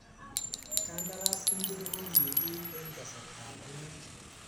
Kandaras ingiro kokikiit eng kasarta ab mat?